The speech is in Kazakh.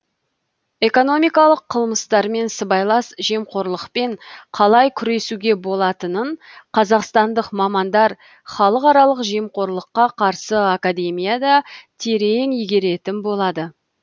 экономикалық қылмыстармен сыбайлас жемқорлықпен қалай күресуге болатынын қазақстандық мамандар халықаралық жемқорлыққа қарсы академияда терең игеретін болады